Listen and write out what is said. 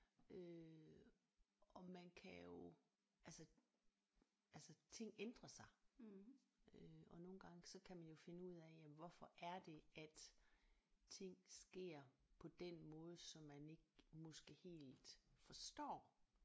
Øh og man kan jo altså altså ting ændrer sig øh og nogle gange så kan man jo finde ud af jamen hvorfor er det at ting sker på den måde som man ikke måske helt forstår